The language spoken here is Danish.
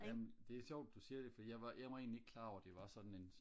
jamen det er sjovt du siger det for jeg var jeg var egentlig ikke klar over det var sådan en